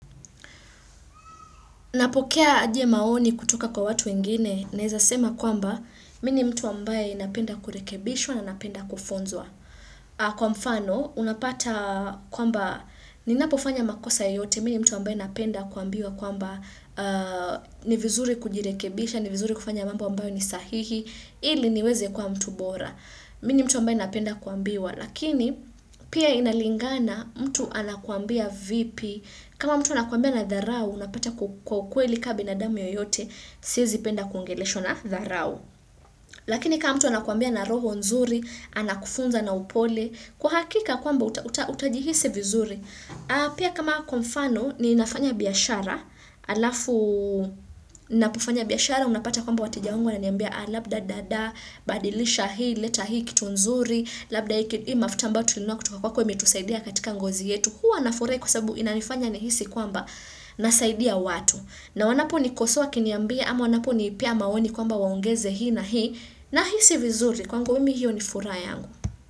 Napokea aje maoni kutoka kwa watu wengine, naeza sema kwamba, mi ni mtu ambaye napenda kurekebishwa na napenda kufunzwa. Kwa mfano, unapata kwamba, ninapofanya makosa yoyote, mi ni mtu ambaye napenda kuambiwa kwamba ni vizuri kujirekebisha, ni vizuri kufanya mambo ambayo ni sahihi, ili niweze kuwa mtu bora. Mi ni mtu ambaye napenda kuambiwa, lakini pia inalingana mtu anakuambia vipi, kama mtu anakuambia na dharau, unapata kwa ukweli kama binadamu yoyote, siezipenda kuongeleshwa na dharau. Lakini kama mtu anakuambia na roho nzuri, anakufunza na upole, kwa hakika kwamba utajihisi vizuri. Pia kama kwa mfano ninafanya biashara alafu ninapofanya biashara unapata kwamba wateja wangu wananiambia labda dada badilisha hii leta hii kitu nzuri labda hii mafuta ambao tulinunua kutoka kwako imetusaidia katika ngozi yetu huwa nafurahi kwa sababu inanifanya nihisi kwamba nasaidia watu na wanapo nikosoa wakiniambia ama wanaponipea maoni kwamba waongeze hii na hii nahisi vizuri kwangu mimi hiyo ni furaha yangu.